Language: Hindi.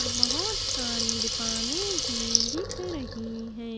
और बहोत सारी दुकाने भी दिख रही है।